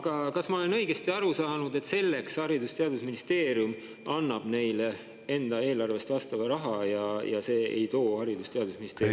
Aga kas ma olen õigesti aru saanud, et Haridus- ja Teadusministeerium annab neile selleks enda eelarvest vastava raha ja see ei too Haridus- ja Teadusministeeriumile …